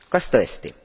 Kas tõesti?